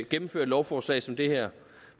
gennemfører et lovforslag som det her